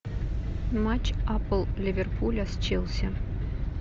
матч апл ливерпуля с челси